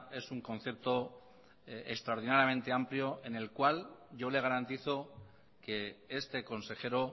es un concepto extraordinariamente amplio en el cual yo le garantizo que este consejero